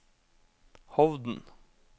Hovden